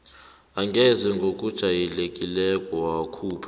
angeze ngokujayelekileko yakhupha